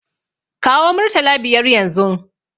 Kawo murtala biyar yanzun!